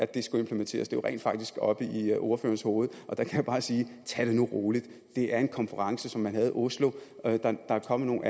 det skulle implementeres er jo rent faktisk oppe i ordførerens hoved og der kan jeg bare sige tag det nu roligt det er en konference som man havde i oslo der er kommet